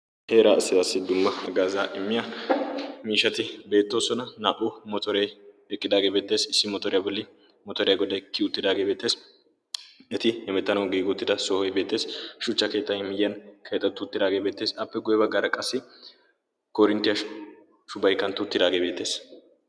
Heeraa asiyaassi dumma gaazaa immiya miishati beettoosona naa"o motooree eqqidaagee beettees issi motoriyaa bolli motoriyaa godday kiuuttidaagee beettees. eti emettanau giiguuttida sohoy beettees. shuchcha keetai miyyiyan keetattu tiraagee beettees appe gueba gara qassi korinttiyaa shubaikkanttu tiraagee beettees.